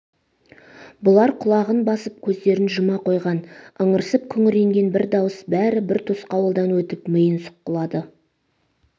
бұлар құлағын басып көздерін жұма қойған ыңырсып күңіренген бір дауыс бәрі бір тосқауылдан өтіп миын сұққылады